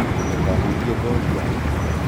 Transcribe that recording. ndũkahutie ngothi yake